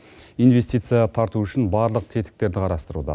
инвестиция тарту үшін барлық тетіктерді қарастыруда